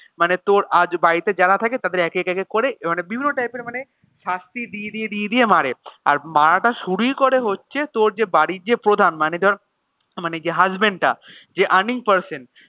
মানে তোর আজ বাড়িতে যারা থাকে তাদের একেক একেক করে মানে বিভিন্ন type এর মানে শাস্তি দিয়ে দিয়ে দিয়ে দিয়ে মারে আর মারাটা শুরুই করে হচ্ছে তোর যে বাড়ির যে প্রধান মানে ধর মানে যে husband টা যে earning person